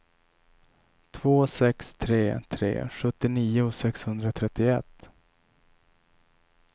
två sex tre tre sjuttionio sexhundratrettioett